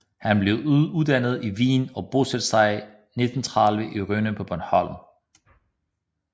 Han blev uddannet i Wien og bosatte sig i 1930 i Rønne på Bornholm